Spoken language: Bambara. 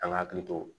An ka hakili to